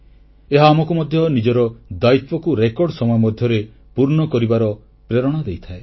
ଏହା ଆମକୁ ମଧ୍ୟ ନିଜର ଦାୟିତ୍ୱକୁ ରେକର୍ଡ ସମୟ ମଧ୍ୟରେ ପୂର୍ଣ୍ଣ କରିବାର ପ୍ରେରଣା ଦେଇଥାଏ